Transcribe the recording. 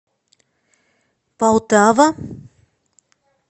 полтава